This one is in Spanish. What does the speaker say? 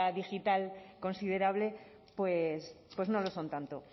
digital considerable pues no lo son tanto